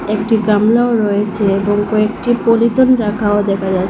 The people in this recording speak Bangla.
একটি গামলাও রয়েছে এবং কয়েকটি পলিতন রাখাও দেখা যাছ--